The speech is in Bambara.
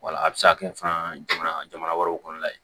Wala a bɛ se ka kɛ fana jamana wɛrɛw kɔnɔ la ye